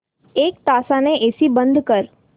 एक तासाने एसी बंद कर